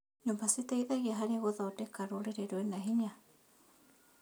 Nyũmba citeithagia harĩ gũthondeka rũrĩrĩ rwĩna hinya.